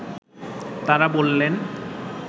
তারা বললেন